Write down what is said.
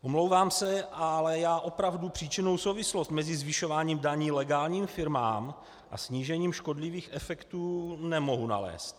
Omlouvám se, ale já opravdu příčinnou souvislost mezi zvyšováním daní legálním firmám a snížením škodlivých efektů nemohu nalézt.